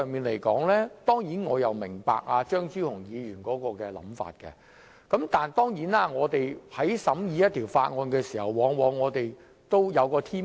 我當然明白張超雄議員的想法，但我們在審議法案時，往往好像有一個天秤。